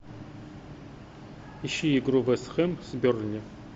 ищи игру вест хэм с бернли